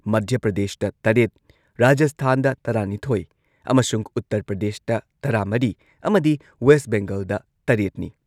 ꯃꯙ꯭ꯌ ꯄ꯭ꯔꯗꯦꯁꯇ ꯇꯔꯦꯠ, ꯔꯥꯖꯁꯊꯥꯟꯗ ꯇꯔꯥꯅꯤꯊꯣꯏ ꯑꯃꯁꯨꯡ ꯎꯠꯇꯔ ꯄ꯭ꯔꯗꯦꯁꯇ ꯇꯔꯥꯃꯔꯤ ꯑꯃꯗꯤ ꯋꯦꯁ ꯕꯦꯡꯒꯜꯗ ꯇꯔꯦꯠꯅꯤ꯫